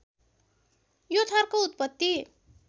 यो थरको उत्पत्ति